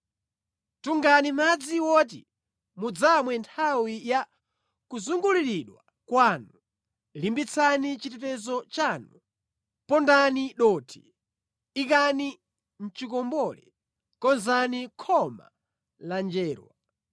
Tungani madzi woti mudzamwe nthawi ya kuzunguliridwa kwanu, limbitsani chitetezo chanu! Pondani dothi, ikani mʼchikombole, konzani khoma la njerwa!